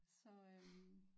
Så øh